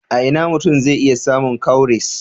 A ina mutum zai iya samun cowries?